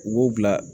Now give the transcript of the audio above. U b'o bila